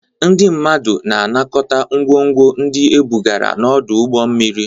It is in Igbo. Ndị mmadụ na-anakọta ngwongwo ndị ebugara n'ọdụ ụgbọ mmiri.